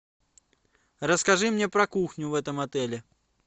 расскажи мне про кухню в этом отеле